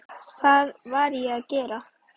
Hvað var ég að gera.?